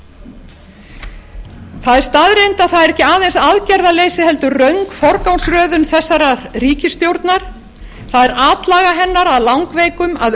að það er ekki aðeins aðgerðaleysi heldur röng forgangsröðun þessarar ríkisstjórnar það er atlaga hennar að langveikum að